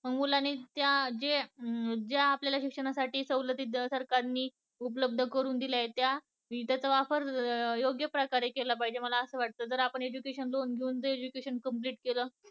मुलांनी त्या, जे आपल्याला शिक्षणासाठी सलतीत सरकारने उपलब्ध करून दिल्या आहेत त्या चा वापर योग्य प्रकारे केला पाहिजे असं वाटत आपण complete केलं